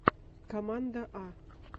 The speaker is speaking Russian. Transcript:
команда а